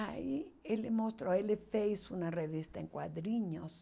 Aí ele mostrou, ele fez uma revista em quadrinhos.